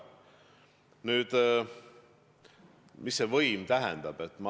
Nüüd, mida võim tähendab?